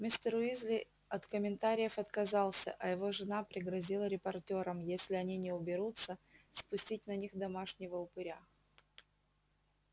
мистер уизли от комментариев отказался а его жена пригрозила репортёрам если они не уберутся спустить на них домашнего упыря